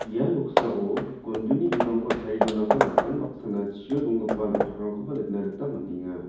ia noksao gonduni bimangko tarie donako nikan baksana chio donggipa na·tokrangkoba nikna gita man·enga.